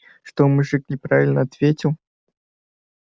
что мужик неправильно ответил